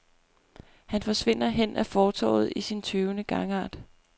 Han forsvinder hen ad fortovet i sin tøvende gangart.